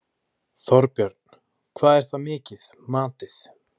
Þorbjörn: Hvað er það mikið, matið?